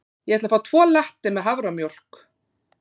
Ég ætla að fá tvo latte með haframjólk.